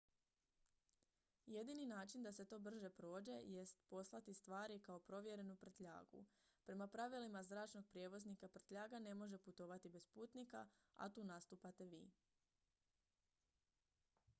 jedini način da se to brže prođe jest poslati stvari kao provjerenu prtljagu prema pravilima zračnog prijevoznika prtljaga ne može putovati bez putnika a tu nastupate vi